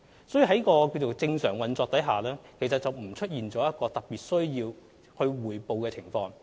因此，鐵路的運作正常，並無出現任何特別需要匯報的情況。